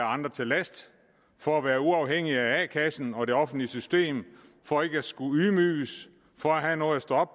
andre til last for at være uafhængig af a kassen og det offentlige system for ikke at skulle ydmyges for at have noget at stå